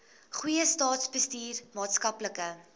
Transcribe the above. goeie staatsbestuur maatskaplike